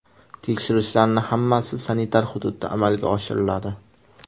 Tekshirishlarning hammasi sanitar hududda amalga oshiriladi.